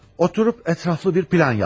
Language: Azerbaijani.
Oturub ətraflı bir plan yapdı.